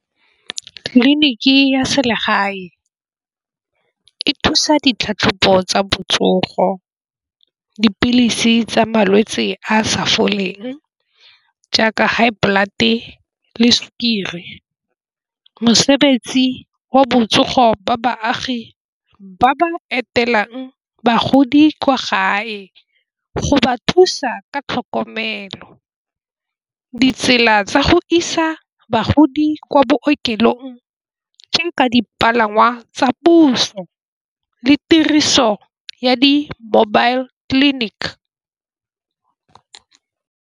Tleliniki ya selegae e thusa ditlhatlhobo tsa botsogo. Dipilisi tsa malwetse a a sa foleng, jaaka high blood le sukiri. Mosebetsi wa botsogo jwa baagi ba ba etelelang bagodi kwa gae go ba thusa ka tlhokomelo. Ditsela tsa go isa bagodi kwa bookelong tse nka dipalangwa tsa puso le tiriso ya di-mobile clinic.